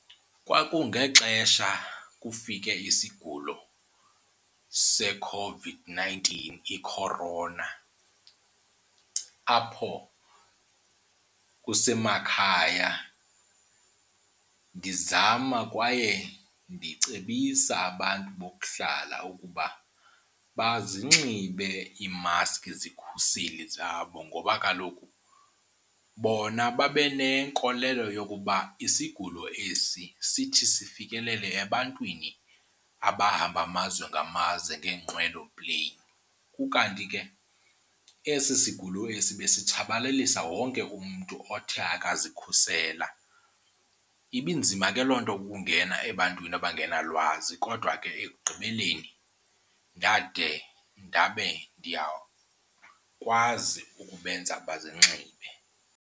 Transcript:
Kwakungexesha kufike isigulo seCOVID-nineteen i-corona apho kusemakhaya ndizama kwaye ndicebisa abantu bokuhlala ukuba bazinxibe iimaskhi, izikhuseli zabo. Ngoba kaloku bona babe nenkolelo yokuba isigulo esi sithi sifikelele ebantwini abahamba amazwe ngamazwe ngeenqwelo pleyini, ukanti ke esi sigulo esi besitshabalalisa wonke umntu othe akazikhusela. Ibinzima ke loo nto ukungena ebantwini abangenalwazi kodwa ke ekugqibeleni ndade ndabe ndiyakwazi ukubenza bazinxibe.